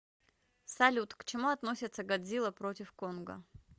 салют к чему относится годзилла против конга